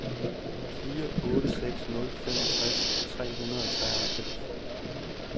fire otte seks nul femogtres tre hundrede og treoghalvfems